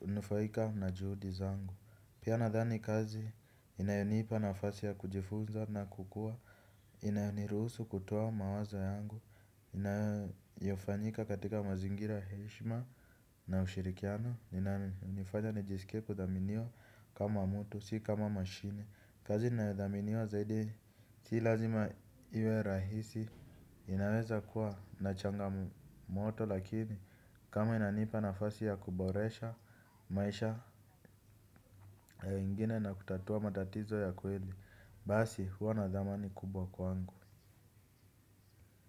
litanufaika na juhudi zangu. Pia nadhani kazi inayonipa nafasi ya kujifunza na kukua. Inayoniruhusu kutoa mawazo yangu. Inayofanyika katika mazingira ya heshima na ushirikiano, inanifanya nijisikie kudhaminiwa kama mtu, si kama mashine. Kazi ninayodhaminiwa zaidi, si lazima iwe rahisi. Inaweza kuwa na changamoto lakini kama inanipa nafasi ya kuboresha maisha ya ingine na kutatua matatizo ya kweli basi huwa nadhamani kubwa kwangu.